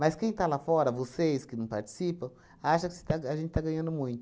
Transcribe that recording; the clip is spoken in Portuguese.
Mas quem está lá fora, vocês que não participam, acham que se está a gente está ganhando muito.